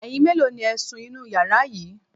Ẹyin mélòó ni ẹ̀ ń sun inú yàrá yìí?